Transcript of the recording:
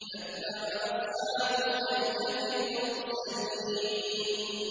كَذَّبَ أَصْحَابُ الْأَيْكَةِ الْمُرْسَلِينَ